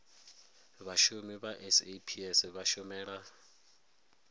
vhashumi vha saps vha shumela